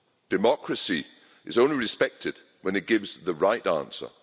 Democracy is only respected when it gives the right answer.